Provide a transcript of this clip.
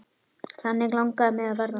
Þannig langaði mig að verða.